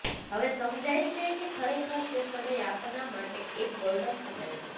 હવે સમજાય છે કે ખરેખર તે સમય આપના માટે એક ગોલ્ડન સમય હતો